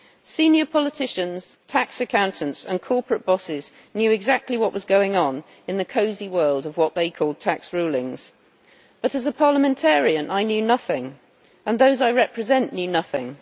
Senior politicians, tax accountants and corporate bosses knew exactly what was going on in the cosy world of what they call tax rulings, but as a parliamentarian I knew nothing, and those I represent knew nothing.